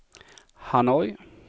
Hanoi